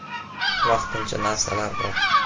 Vaqtincha narsalar bor.